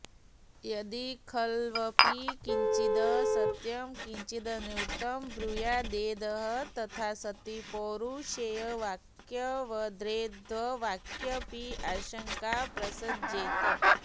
यदि खल्वपि किञ्चित् सत्यं किञ्चिदनृतं ब्रूयाद्वेदः तथा सति पौरुषेयवाक्यवद्वेदवाक्येऽपि आशंका प्रसज्येत